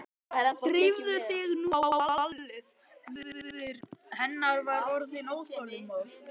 Drífðu þig nú á ballið, móðir hennar var orðin óþolinmóð.